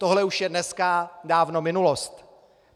Tohle už je dneska dávno minulost.